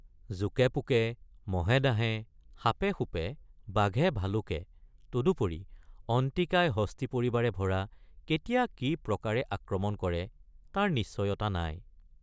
.জোকেপোকে মহেডাঁহে সাপেসুপে বাঘেভালুকে তদুপৰি অন্তিকায় হস্তী পৰিবাৰে ভৰা কেতিয়া কি প্ৰকাৰে আক্ৰমণ কৰে তাৰ নিশ্চয়তা নাই।